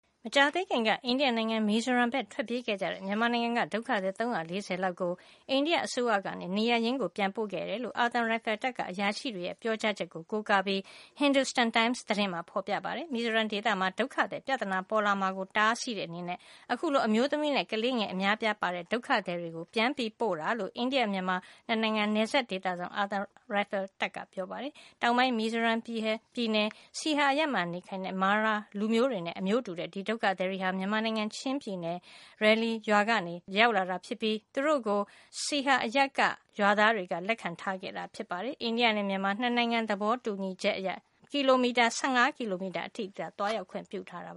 မကြာသေးခင်က အိန္ဒိယနိုင်ငံ မီဇိုရမ်ဘက်ကို ထွက်ပြေးခဲ့ကြတဲ့ မြန်မာနိုင်ငံက ဒုက္ခသည် ၃၄၀ လောက်ကို အိန္ဒိယ အစိုးရက နေရပ်ရင်း ပြန်ပို့ခဲ့တယ်လို့ အာသံရိုင်ဖယ်တပ်က အရာရှိတွေရဲ့ ပြောကြားချက်ကို ကိုးကားပြီး Hindustan Times သတင်းမှာ ဖေါ်ပြပါတယ်။ မီဇိုရမ် ဒေသမှာ ဒုက္ခသည် ပြဿနာ ပေါ်လာမှာကို တားဆီးတဲ့ အနေနဲ့ အခုလို အမျိုးသမီးနဲ့ ကလေးငယ် အများအပြားပါဝင်တဲ့ ဒုက္ခသည်တွေကို ပြန်ပို့တာလို့ အိန္ဒိယ မြန်မာ ၂ နိုင်ငံကြားက ကီလိုမီတာ ၁၆၀၀ ကျော်ရှည်တဲ့ နယ်စပ်ဒေသစောင့် အာသံရိုင်ဖယ်တပ်က ပြောပါတယ်။ တောင်ပိုင်း မီဇိုရမ်ပြည်နယ် Saiha အရပ်မှာ နေထိုင်တဲ့ Mara လူမျိုးစုတွေနဲ့ အမျိုးတူတဲ့ ဒီဒုက္ခသည်တွေဟာ မြန်မာနိုင်ငံ ချင်းပြည်နယ်ထဲက Ralie ရွာကနေ မေလ ၁၉ နဲ့ ၂၀ ရက်တွေမှာ ရောက်လာတာ ဖြစ်ပြီး သူတို့ကို Saiha အရပ်က Khaikhy နဲ့ Lungpuk ရွာသားတွေက လက်ခံထားခဲ့တာ ဖြစ်ပါတယ်။ အိန္ဒိယနဲ့ မြန်မာ ၂ နိုင်ငံ သဘောတူညီချက်အရ တဖက်နိုင်ငံတွင်း ၁၅ ကီလိုမီတာ အထိသာ သွားရောက်ခွင့် ပြုထားတာ